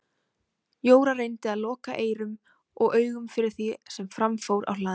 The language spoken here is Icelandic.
Jóra reyndi að loka eyrum og augum fyrir því sem fram fór á hlaðinu.